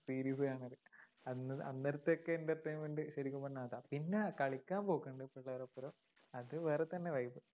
series കാണല്. അന്ന്അന്നേരത്തെയൊക്കെ entertainment ശരിക്കും പറഞ്ഞാ അതാ. പിന്നെ കളിയ്ക്കാൻ പോക്കുണ്ട് പിള്ളേരുടെയൊപ്പം അത് വേറെ തന്നെ life ഉ